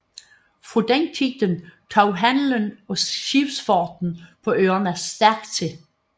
Fra den tid tog handelen og skibsfarten på øerne stærkt til